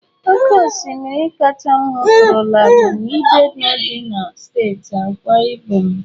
Oke osimiri kacha m hụtụrụla bụ na ibeno dị na steeti Akwa Ibom.